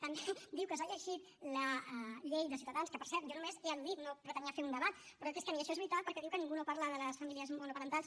també diu que s’ha llegit la llei de ciutadans que per cert jo només l’he al·ludit no pretenia fer un debat però és que ni això és veritat perquè diu que ningú no parla de les famílies monoparentals